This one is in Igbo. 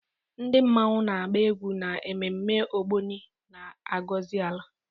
Ndi mmanwu na-agba egwu n'ememme Ogbóni, na-agọzi ala.